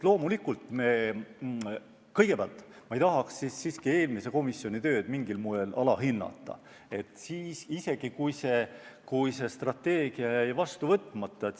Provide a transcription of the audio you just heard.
Loomulikult ma ei taha siiski eelmise komisjoni tööd mingil moel alahinnata, isegi kui see strateegia jäi vastu võtmata.